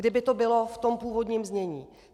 Kdyby to bylo v tom původním znění.